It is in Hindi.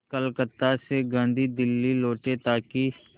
कलकत्ता से गांधी दिल्ली लौटे ताकि